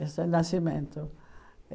Esse é o de nascimento.